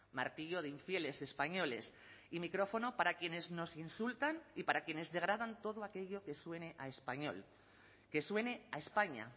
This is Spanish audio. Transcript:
martillo de infieles españoles y micrófono para quienes nos insultan y para quienes degradan todo aquello que suene a español que suene a españa